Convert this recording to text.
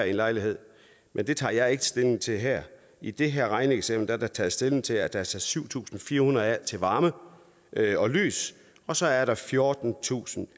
i en lejlighed men det tager jeg ikke stilling til her i det her regneeksempel er der taget stilling til at der er sat syv tusind fire hundrede kroner af til varme og lys og så er der fjortentusinde